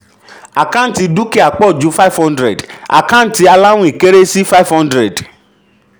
àkáǹtì dúkìá pọ̀ ju five hundred àkáǹtì aláwìn kéré sí five hundred.